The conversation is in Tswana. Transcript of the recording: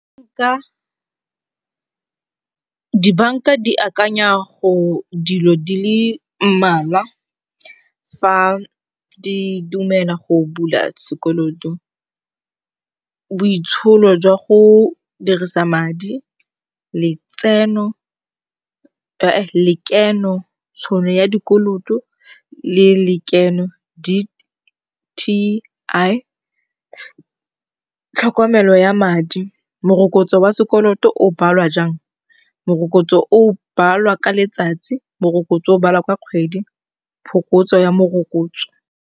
Dibanka di akanya go dilo di le mmalwa fa di dumela go bula sekoloto. Boitsholo jwa go dirisa madi, letseno lekeno, tšhono ya dikoloto le lekeno di tlhokomelo ya madi, morokotso wa sekoloto o balwa jaang, morokotso o balwa ka letsatsi, morokotso o balwa ka kgwedi, phokotso ya morokotso.